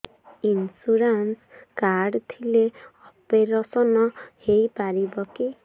insurance card ଥିଲେ operation ହେଇପାରିବ କି